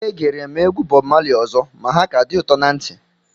Egere m egwu Bọb Mali ọzọ ma ha ka dị ụtọ na ntị